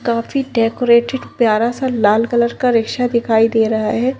काफी डेकोरेटेड प्यारा सा लाल कलर का रिक्शा दिखाई दे रहा है।